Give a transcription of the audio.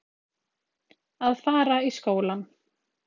Að fara í skólann!